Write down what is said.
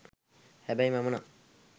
හැබැයි මම නම්